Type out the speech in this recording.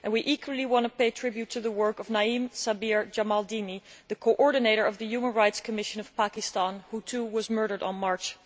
We equally want to pay tribute to the work of Naeem Sabir Jamaldini, the coordinator of the Human Rights Commission of Pakistan, who was murdered on 1 March.